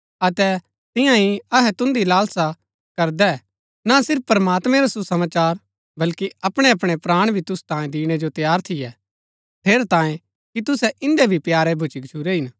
अतै तियां ही अहै तुन्दी लालसा करदै ना सिर्फ प्रमात्मैं रा सुसमाचार बल्‍की अपणैअपणै प्राण भी तुसु तांई दिणै जो तैयार थियै ठेरैतांये कि तुसै इन्दै भी प्यारे भुच्‍ची गच्छुरै हिन